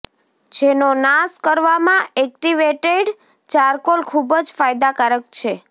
જેનો નાશ કરવામાં એક્ટિવેટેડ ચારકોલ ખુબ જ ફાયદાકારક છે